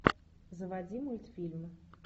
заводи мультфильмы